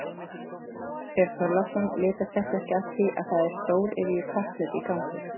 Björn Þorláksson: Litast þetta ekki af því að það er stóriðju kapphlaup í gangi?